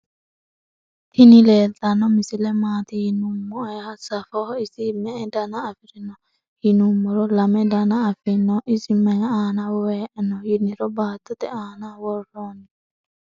tini leltano misile maati yiinumoeo safeho isi me'e danna afirino yinumoro lame daana afieino. iso mayi aana woeonni yiniro battote anna woronni.